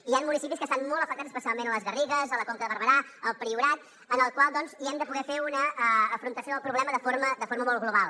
hi han municipis que estan molt afectats especialment a les garrigues a la conca de barberà al priorat en els quals doncs hi hem de poder fer un afrontament del problema de forma molt global